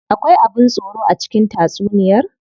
Akwai abin tsoro a cikin tatsuniyar?